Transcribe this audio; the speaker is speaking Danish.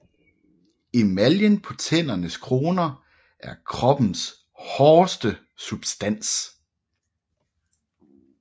Emaljen på tændernes kroner er kroppens hårdeste substans